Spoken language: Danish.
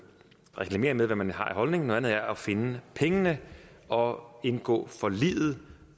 reklamere med hvad man har af holdning noget andet er at finde pengene og indgå forliget